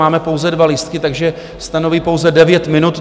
Máme pouze dva lístky, takže stanovuji pouze 9 minut.